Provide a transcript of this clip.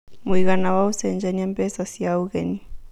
mũigana wa ũcenjanĩa mbeca cĩa ũgeni